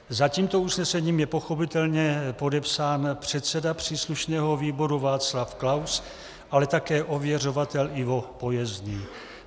Za tímto usnesením je pochopitelně podepsán předseda příslušného výboru Václav Klaus, ale také ověřovatel Ivo Pojezný.